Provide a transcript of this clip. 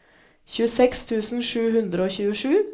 tjueseks tusen sju hundre og tjuesju